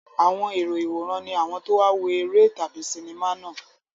Àwọn èrò ìwòran ni àwọn tó wá wo eré tàbí sinimá náà.